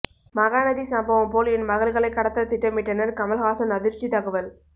மகாநதி சம்பவம் போல் என் மகள்களை கடத்த திட்டமிட்டனர் கமல்ஹாசன் அதிர்ச்சி தகவல்